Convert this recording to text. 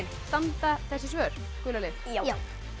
standa þessi svör gula lið já